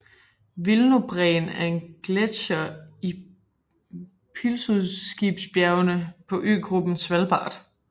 Wilnobreen er en gletsjer i Pilsudskibjergene på øgruppen Svalbard